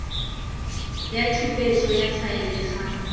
ya tshupetso ya faele ga